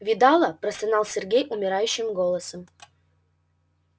видала простонал сергей умирающим голосом